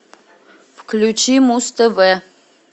включи муз тв